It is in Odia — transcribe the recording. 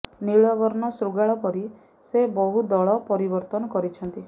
ନୀଳବର୍ଣ୍ଣ ଶୃଗାଳ ପରି ସେ ବହୁ ଦଳ ପରିବର୍ତ୍ତନ କରିଛନ୍ତି